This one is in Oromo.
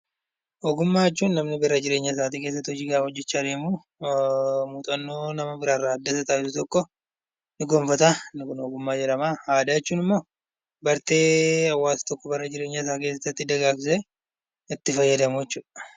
Ogummaa jechuun namni bara jireenya isaa keessatti hojjachaa deemuu muuxannoo nama tokkorraa argamu tokko ni gonfata ogummaa jedhama. Aadaa jechuun immoo bartee hawaasa tokkoo bara jireenyasaa keessatti dagaagsee itti fayyadamudha.